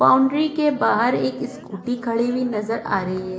Boundary के बाहर एक स्कूटी खड़ी हुई नजर आ रही है।